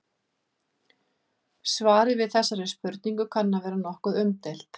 Svarið við þessari spurningu kann að vera nokkuð umdeilt.